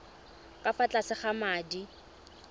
ka fa tlase ga madi